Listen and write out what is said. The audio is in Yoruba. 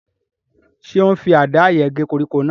Ṣé ó n fi àdá yẹn gé koríko náà?